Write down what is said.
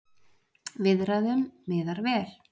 Viðræðum miðar vel